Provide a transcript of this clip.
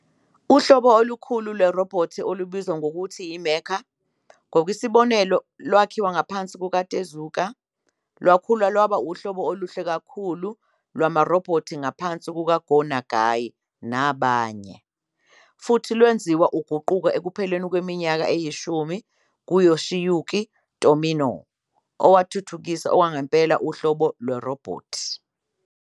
Uhlobo olukhulu lwerobhothi olubizwa nangokuthi "mecha", ngokwesibonelo, lwakhiwa ngaphansi kukaTezuka, lwakhula lwaba uhlobo oluhle kakhulu lwamarobhothi ngaphansi kukaGo Nagai nabanye, futhi lwenziwa uguquko ekupheleni kweminyaka eyishumi nguYoshiyuki Tomino, owathuthukisa okwangempela irobhothi uhlobo.